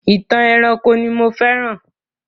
Ìtàn ẹranko ni mo féràn.